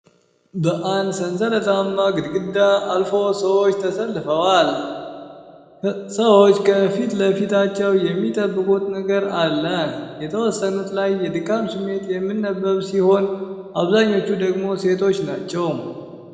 በአንድ ሰንሰላታማ ግድግዳ ጋር አልፎ ሰዎች ተሰልፈዋል። ሰዎቹ ከፊት ለፊታቸው የሚጠብቁት ነገር አለ። የተወሰኑት ላይ የድካም ስሜት የሚነበብ ሲሆን አብዛኞቹ ደግሞ ሴቶች ናቸው።